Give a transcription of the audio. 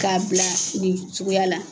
K'a bila nin suguya la.